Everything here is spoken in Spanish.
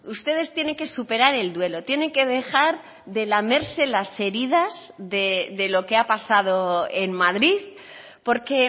ustedes tienen que superar el duelo tienen que dejar de lamerse las heridas de lo que ha pasado en madrid porque